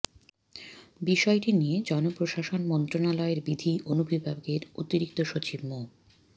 বিষয়টি নিয়ে জনপ্রশাসন মন্ত্রণালয়ের বিধি অনুবিভাগের অতিরিক্ত সচিব মো